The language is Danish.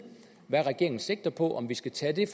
hvad regeringen sigter på og om vi skal tage det